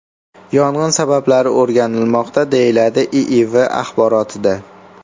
Yong‘in sabablari o‘rganilmoqda”, deyiladi IIV axborotida.